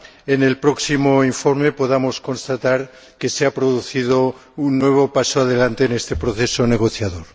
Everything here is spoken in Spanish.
en el próximo informe podamos constatar que se ha producido un nuevo paso adelante en este proceso negociador.